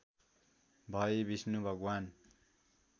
भई विष्णु भगवान्